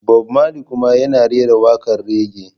Bob Marley kuma yana rera waƙar raggae.